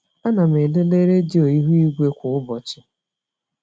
Ana m elele redio ihu igwe kwa ụbọchị.